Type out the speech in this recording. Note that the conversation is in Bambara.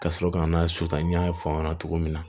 Ka sɔrɔ ka na sutan n y'a fɔ aw ɲɛna cogo min na